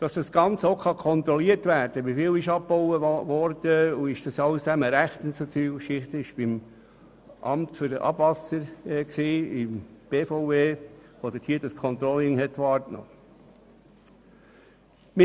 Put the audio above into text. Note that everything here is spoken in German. Das Amt für Abwasser der BVE, das AWA, hat das Controlling wahrgenommen, damit man weiss, wie viel abgebaut wurde und ob alles rechtens abgelaufen ist.